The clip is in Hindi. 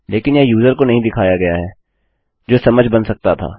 लेकिन यह यूज़र को नहीं दिखाया गया है जो समझ बना सकता था